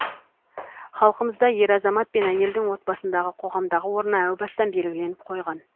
халқымызда ер азамат пен әйелдің отбасындағы қоғамдағы орны әу бастан белгіленіп қойған